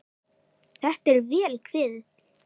Þetta er vel kveðið.